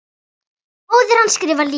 Móðir hans skrifar líka.